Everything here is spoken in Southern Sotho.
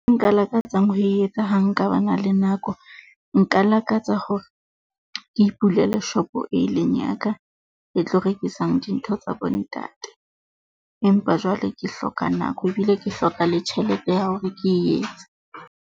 E nka lakatsang ho e etsa ha nka ba na le nako, nka lakatsa hore ke ipulele shopo e eleng ya ka e tlo rekisang dintho tsa bontate. Empa jwale ke hloka nako, ebile ke hloka le tjhelete ya hore ke e etse.